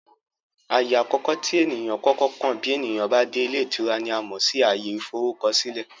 Ààyè àkọ́kọ́ tí èniyàn ó kọ́kọ́ kàn bí ènìyàn bá dé ilé ìtura ni a mọ̀ sí ààyè ìforúkọsílẹ̀